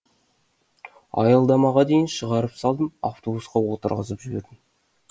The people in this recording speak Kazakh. аялдамаға дейін шығарып салдым автобусқа отырғызып жібердім